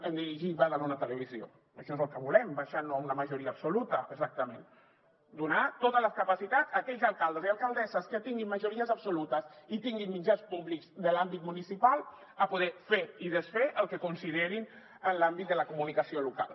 en dirigir badalona televisió això és el que volem deixant ho a una majoria absoluta exactament donar totes les capacitats a aquells alcaldes i alcaldesses que tinguin majories absolutes i tinguin mitjans públics de l’àmbit municipal a poder fer i desfer el que considerin en l’àmbit de la comunicació local